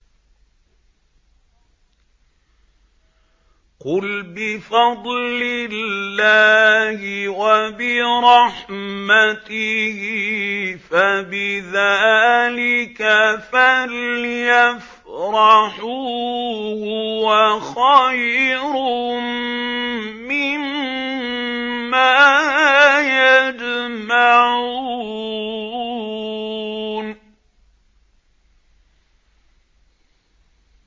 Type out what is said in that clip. قُلْ بِفَضْلِ اللَّهِ وَبِرَحْمَتِهِ فَبِذَٰلِكَ فَلْيَفْرَحُوا هُوَ خَيْرٌ مِّمَّا يَجْمَعُونَ